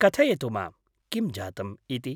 कथयतु मां, किं जातम् इति।